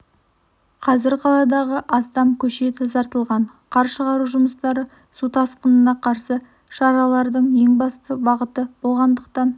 қазір қаладағы астам көше тазартылған қар шығару жұмыстары су тасқынына қарсы шаралардың ең басты бағыты болғандықтан